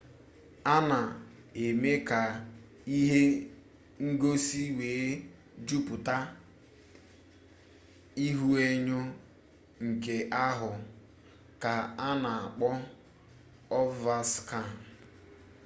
a na eme ya ka ihe ngosi wee juputa ihuenyo nke ahụ ka a na-akpọ ovaskan